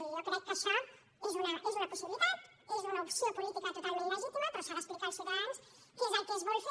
i jo crec que això és una possibilitat és una opció política totalment legítima però s’ha d’explicar als ciutadans què és el que es vol fer